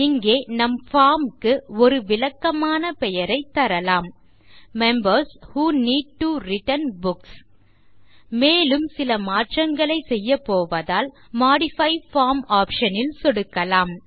இங்கே நம் பார்ம் க்கு ஒரு விளக்கமான பெயரைத் தரலாம் members who need to return books மேலும் சில மாற்றங்களை செய்யபோவதால் மோடிஃபை பார்ம் ஆப்ஷன் ல் சொடுக்கலாம்